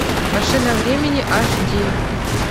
машина времени аш ди